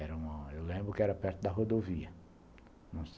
Era eu lembro que era perto da rodovia.